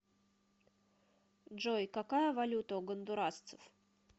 джой какая валюта у гондурасцев